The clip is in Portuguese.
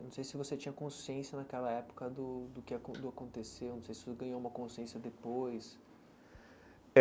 Não sei se você tinha consciência naquela época do do que acon do aconteceu, não sei se você ganhou uma consciência depois.